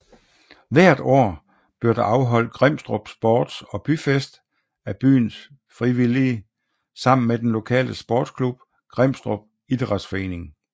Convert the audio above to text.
Hvert år bliver der afholdt Grimstrup Sports og Byfest af byens frivillige sammen med den lokale sportsklub Grimstrup Idrætsforening